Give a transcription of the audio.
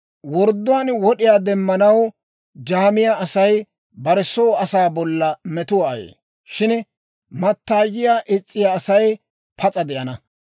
Wordduwaan wod'iyaa demmanaw jaamiyaa Asay bare soo asaa bolla metuwaa ayee; shin mattaayiyaa is's'iyaa Asay pas'a de'ana.